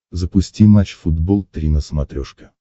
запусти матч футбол три на смотрешке